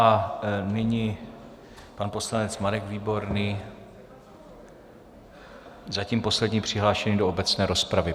A nyní pan poslanec Marek Výborný, zatím poslední přihlášený do obecné rozpravy.